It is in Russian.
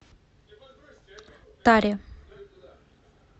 таре